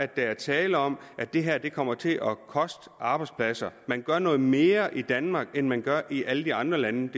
der er tale om at det her kommer til at koste arbejdspladser man gør noget mere i danmark end man gør i alle de andre lande